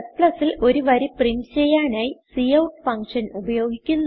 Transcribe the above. Cൽ ഒരു വരി പ്രിന്റ് ചെയ്യാനായി കൌട്ട് ഫങ്ഷൻ ഉപയോഗിക്കുന്നു